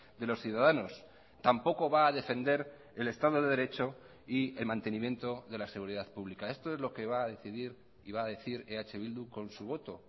de los ciudadanos tampoco va a defender el estado de derecho y el mantenimiento de la seguridad pública esto es lo que va a decidir y va a decir eh bildu con su voto